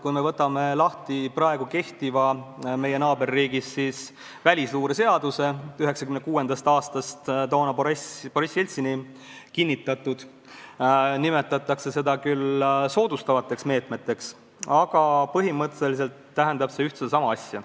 Kui me võtame lahti meie naaberriigis kehtiva välisluureseaduse 1996. aastast – see on Boriss Jeltsini kinnitatud –, siis näeme, et jutt on soodustavatest meetmetest, aga põhimõtteliselt tähendab see ühte ja sama asja.